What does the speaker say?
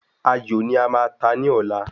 Ayò ní a máa ta ní ọ̀la